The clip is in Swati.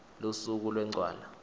lusuku lwencwala